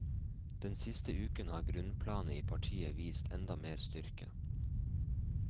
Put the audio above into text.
Den siste uken har grunnplanet i partiet vist enda mer styrke.